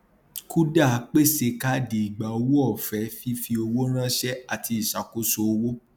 kuda pèsè káàdì ìgbàowó ọfẹ fífi owó ránṣẹ àti ìṣàkóso owó